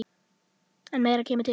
En meira kemur til.